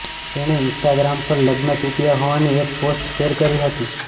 તેણે ઈન્સ્ટાગ્રામ પર લગ્ન તૂટ્યા હોવાની એક પોસ્ટ શૅર કરી હતી